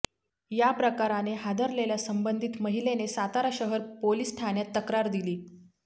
या प्रकाराने हादरलेल्या संबधित महिलेने सातारा शहर पोलीस ठाण्यात तक्रार दिली